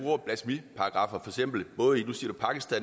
må jo sige